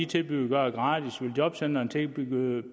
tilbyde at gøre det gratis vil jobcentrene tilbyde